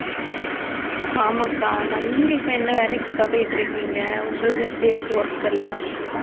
ஆமாக்கா ஆமாம் நீங்க இப்ப என்ன வேலைக்கு அக்கா போயிட்டிருக்கீங்க உங்களுக்கு எப்படி இருக்கு work எல்லாம்